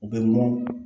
U bɛ mɔn